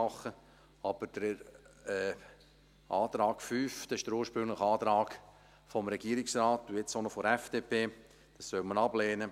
Hingegen soll man die Ziffer 5 – das ist der ursprüngliche Antrag des Regierungsrates und nun auch noch der FDP – ablehnen.